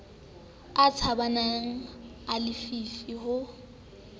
a tshabehang a lefifi ho